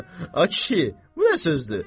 Ay kişi, bu nə sözdür?